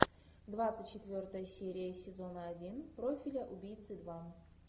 двадцать четвертая серия сезона один профиля убийцы два